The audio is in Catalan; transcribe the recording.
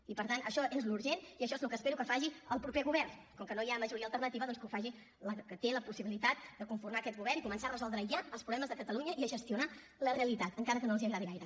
i per tant això és el que és urgent i això és el que espero que faci el proper govern com que no hi ha majoria alternativa doncs que ho faci la que té la possibilitat de conformar aquest govern i començar a resoldre ja els problemes de catalunya i a gestionar la realitat encara que no els agradi gaire